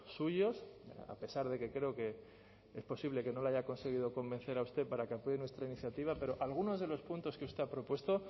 suyos a pesar de que creo que es posible que no le haya conseguido convencer a usted para que apoye nuestra iniciativa pero algunos de los puntos que usted ha propuesto